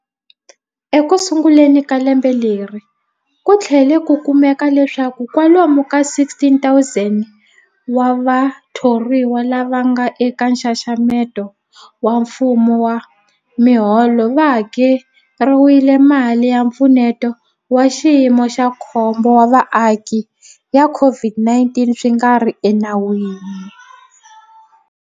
Ekusunguleni ka lembe leri, ku tlhele ku kumeka leswaku kwalomu ka 16,000 wa vathoriwa lava nga eka nxaxamelo wa mfumo wa miholo va hakeriwile mali ya Mpfuneto wa Xiyimo xa Khombo wa Vaaki ya COVID-19 swi nga ri enawini.